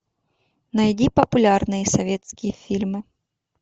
найди популярные советские фильмы